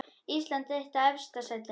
Ísland eitt í efsta sætinu